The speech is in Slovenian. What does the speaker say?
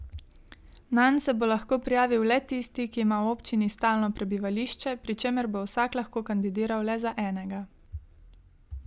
Nanj se bo lahko prijavil le tisti, ki ima v občini stalno prebivališče, pri čemer bo vsak lahko kandidiral le za enega.